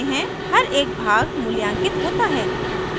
हर एक भाग मूल्यांकित होता है